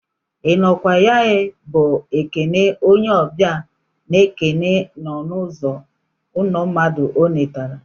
I nọ kwa ya ee bụ ekele onye ọbịa n'ekele n'ọnụ uzo ụlọ mmadụ ọ letara.